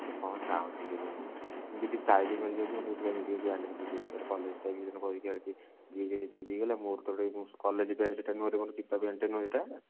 ସେ କଣ ଚାହୁଁଛି କେଜାଣି ମୁଁ ଯଦି style ମାରିକି ଆସୁଛି ମୋତେ କହୁଛି ଏମିତି କଣ pant ପିନ୍ଧିକି ଆସିଛ ଏଇଟା college ମୋର ତ ସେଟା college pant ସେଟା ନୁହଁ ମୋର ଚିପା pant ଟା ନୁହଁ ସେଟା